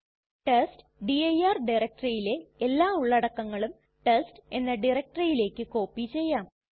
test dir ഡയറക്ടറിയിലെ എല്ലാ ഉള്ളടക്കങ്ങളും ടെസ്റ്റ് എന്ന ഡയറക്ടറിയിലേക്ക് കോപ്പി ചെയ്യാം